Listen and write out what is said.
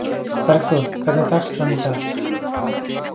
Bergþór, hvernig er dagskráin í dag?